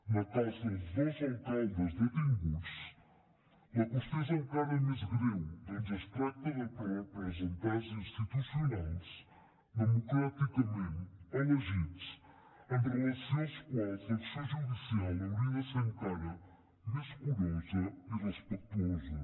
en el cas dels dos alcaldes detinguts la qüestió és encara més greu atès que es tracta de representants institucionals democràticament elegits amb relació als quals l’acció judicial hauria de ser encara més curosa i respectuosa